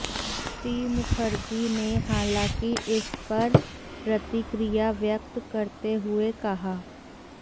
श्री मुखर्जी ने हालांकि इस पर प्रतिक्रिया व्यक्त करते हुए कहा